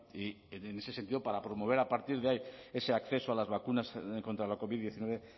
y en ese sentido para promover a partir de ahí ese acceso a las vacunas contra la covid diecinueve